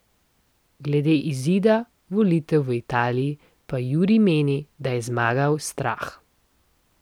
Glede izida volitev v Italiji pa Juri meni, da je zmagal strah.